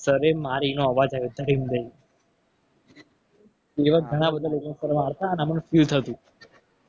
મારી એનો અવાજ આયો ધડીમ દઈને એવા બધા ઘણા લોકો મારતા. અને અમને feel થતું.